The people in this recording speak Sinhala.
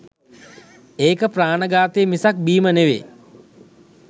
ඒක ප්‍රාණඝාතය මිසක් බීම නෙවේ.